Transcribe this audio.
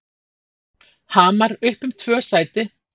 Hamar upp um tvö sæti